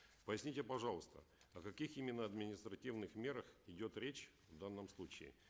поясните пожалуйста о каких именно административных мерах идет речь в данном случае